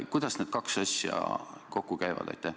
Kuidas need kaks asja kokku käivad?